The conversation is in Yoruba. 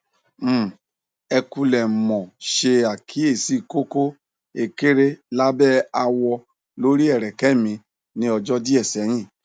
um ẹ kúlẹ mo ṣe àkíyèsí koko ékeré lábẹ àwọ lori ẹrẹkẹ mi ní ọjọ díẹ sẹyìn